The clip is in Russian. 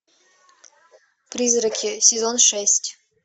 призраки сезон шесть